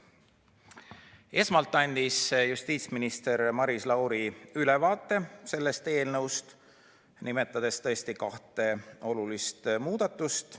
Esmalt andis justiitsminister Maris Lauri sellest eelnõust ülevaate, nimetades kahte olulist muudatust.